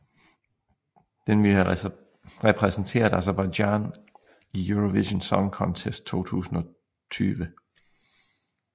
Den ville have repræsenteret Aserbajdsjan i Eurovision Song Contest 2020